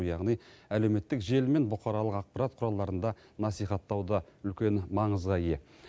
яғни әлеуметтік желі мен бұқаралық ақпарат құралдарында насихаттау да үлкен маңызға ие